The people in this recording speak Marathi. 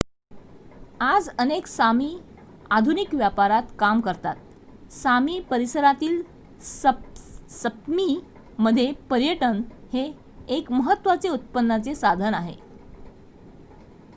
आज अनेक सामी आधुनिक व्यापारात काम करतात सामी परिसरातील सप्मीमध्ये पर्यटन हे एक महत्त्वाचे उत्पन्नाचे साधन आहे